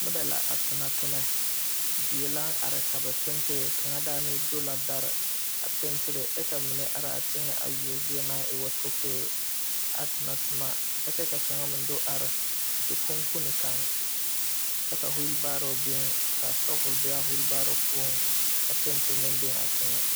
Nɔbɛ la a tonɔtomɛ die laŋ are ka ba pentire kaŋa daanee do la dare a pentire kyɛ ka ba mine araa teŋɛ a yuo zie naŋ e woo tokoe a tonɔtoma a kyɛ ka kaŋa meŋ do are zikuŋkune kaŋ kyɛ ka wiibaaro biŋ ka sɔbul be a wiibaaro poɔŋ kyɛ ka penti meŋ biŋ a teŋɛ.